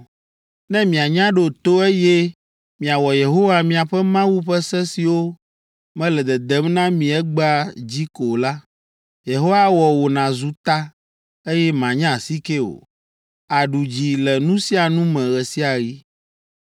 Ne mianya ɖo to, eye miawɔ Yehowa miaƒe Mawu ƒe se siwo mele dedem na mi egbea dzi ko la, Yehowa awɔ wò nàzu ta, eye mànye asike o; àɖu dzi le nu sia nu me ɣe sia ɣi.